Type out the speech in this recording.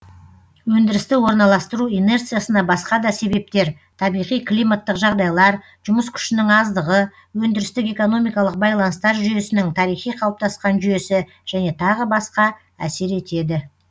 өндірісті орналастыру инерциясына басқа да себептер табиғи климаттық жағдайлар жұмыс күшінің аздығы өндірістік экономикалық байланыстар жүйесінің тарихи қалыптасқан жүйесі және тағы басқа әсер етеді